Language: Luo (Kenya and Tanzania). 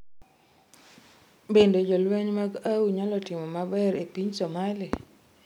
Bende jolweny mag AU nyalo timo maber e piny Somalia?